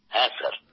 হ্যাঁ স্যার